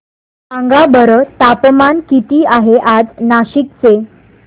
सांगा बरं तापमान किती आहे आज नाशिक चे